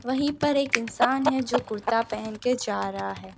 वहीं पर एक इंसान है जो कुर्ता पहन के जा रहा है।